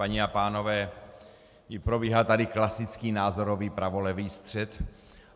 Paní a pánové, probíhá tady klasický názorový pravolevý střet.